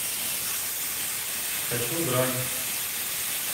хочу грань